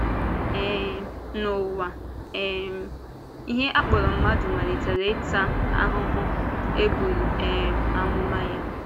um N’ụwa, um ihe a kpọrọ mmadụ malitere ịta “ahụ́hụ” e buru um amụma ya.